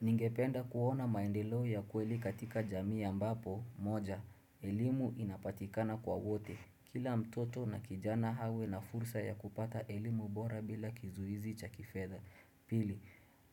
Ningependa kuona maendeleo ya kweli katika jamii ambapo moja, elimu inapatikana kwa wote. Kila mtoto na kijana awe na fursa ya kupata elimu bora bila kizuizi cha kifedha Pili,